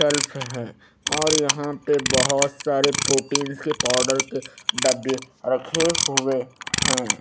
Self हैं और यहां पे बहोत सारे प्रोटीन्स के पाउडर के डब्बे रखें हुए हैं।